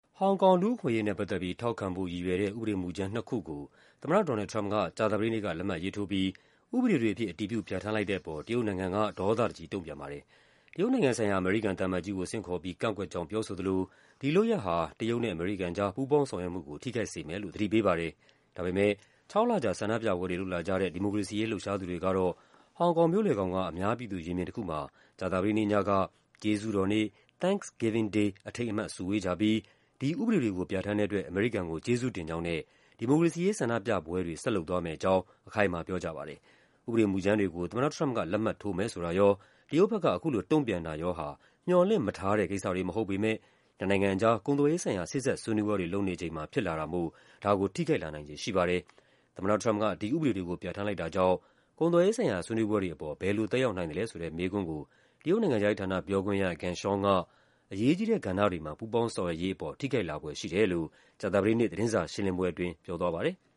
ဟောင်ကောင် လူ့အခွင့်အရေးနဲ့ ပတ်သက်ပြီး ထောက်ခံဖို့ ရည်ရွယ်တဲ့ ဥပဒေမူကြမ်းနှစ်ခုကို သမ္မတ Donald Trump က ကြာသပတေးနေ့က လက်မှတ်ရေးထိုးပြီး ဥပဒေတွေအဖြစ် အတည်ပြု ပြဋ္ဌာန်းလိုက်တဲ့အပေါ် တရုတ်နိုင်ငံက ဒေါသတကြီး တုံ့ပြန်ပါတယ်။ တရုတ်နိုင်ငံဆိုင်ရာ အမေရိကန်သံအမတ်ကြီးကို ဆင့်ခေါ်ပြီး ကန့်ကွက်ကြောင်း ပြောဆိုသလို ဒီလုပ်ရပ်ဟာ တရုတ်နဲ့ အမေရိကန်ကြား ပူးပေါင်းဆောင်ရွက်မှုကို ထိခိုက်စေမယ်လို့ သတိပေးပါတယ်။ ဒါပေမယ့် ခြောက်လကြာ ဆန္ဒပြပွဲတွေ လုပ်လာကြတဲ့ ဒီမိုကရေစီရေး လှုပ်ရှားသူတွေကတော့ ဟောင်ကောင်မြို့လယ်ခေါင်က အများပြည်သူ ရင်ပြင်တခုမှာ ကြာသပတေးနေ့ညက “ကျေးဇူးတော်နေ့” “Thanksgiving Day” အထိမ်းအမှတ် စုဝေးကြပြီး ဒီဥပဒေတွေကို ပြဋ္ဌာန်းတဲ့အတွက် အမေရိကန်ကို ကျေးဇူးတင်ကြောင်းနဲ့ ဒီမိုကရေစီရေး ဆန္ဒပြပွဲတွေ ဆက်လုပ်သွားမယ့်အကြောင်း အခိုင်အမာ ပြောကြပါတယ်။ ဥပဒေမူကြမ်းတွေကို သမ္မတ Trump က လက်မှတ်ထိုးမယ်ဆိုတာရော၊ တရုတ်ဘက်က အခုလို တုံ့ပြန်တာရောဟာ မျှော်လင့်မထားတဲ့ကိစ္စတွေ မဟုတ်ပေမယ့် နှစ်နိုင်ငံကြား ကုန်သွယ်ရေးဆိုင်ရာ စေ့စပ်ဆွေးနွေးပွဲတွေ လုပ်နေချိန်မှာ ဖြစ်လာတာမို့ ဒါကို ထိခိုက်နိုင်ခြေ ရှိပါတယ်။ သမ္မတ Trump က ဒီဥပဒေတွေကို ပြဋ္ဌာန်းလိုက်တာကြောင့် ကုန်သွယ်ရေးဆိုင်ရာ ဆွေးနွေးပွဲတွေပေါ် ဘယ်လိုသက်ရောက်နိုင်သလဲဆိုတဲ့ မေးခွန်းကို တရုတ်နိုင်ငံခြားရေးဌာန ပြောခွင့်ရ Geng Shuang က “အရေးကြီးတဲ့ ကဏ္ဍတွေမှာ ပူးပေါင်းဆောင်ရွက်ရေး” ပေါ် ထိခိုက်လာဖွယ်ရှိတယ်လို့ ကြာသပတေးနေ့ သတင်းစာရှင်းလင်းပွဲအတွင်း ပြောသွားပါတယ်။